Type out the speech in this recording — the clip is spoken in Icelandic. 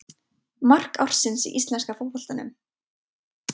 Mark ársins í íslenska fótboltanum?